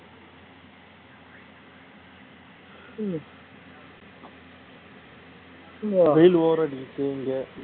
வெயில் over ஆ அடிக்குது இங்க